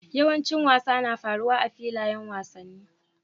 Yawancin wasa na faruwa a filayen wasanni.